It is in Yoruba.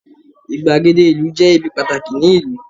igbagede ìlú je ibi pàtàkì ni ìlú